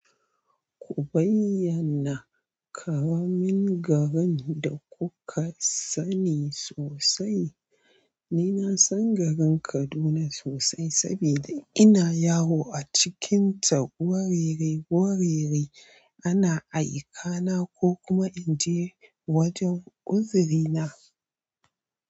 Ku bayyana ƙaramin garin da kuka sani sosai. Ni na san garin Kaduna sosai saboda ina yawo a cikinta warere warere ana aika na ko kuma inje wajan uzuri na.